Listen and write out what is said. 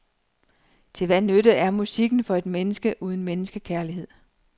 Til hvad nytte er musikken for et menneske uden menneskekærlighed.